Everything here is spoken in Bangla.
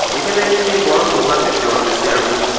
এখানে একটি বড় দোকান দেখতে পারতেসি আমি।